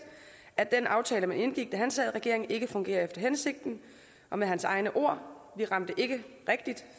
at den aftale man indgik da han sad i regering ikke fungerer efter hensigten med hans egne ord vi ramte ikke rigtigt